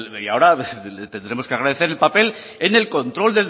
y ahora le tendremos que agradecer el papel en el control